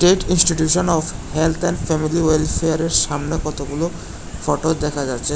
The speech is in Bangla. TET institution of health and family ওয়েলফেয়ারের সামনে কতগুলো ফোটো দেখা যাচ্ছে।